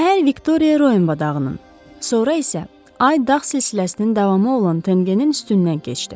Səhər Viktoriya Royenva dağının, sonra isə Ay dağ silsiləsinin davamı olan Təngənin üstündən keçdi.